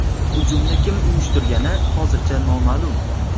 Hujumni kim uyushtirgani hozircha noma’lum.